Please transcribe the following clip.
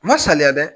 Ma saliya dɛ